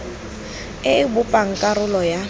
e e bopang karolo ya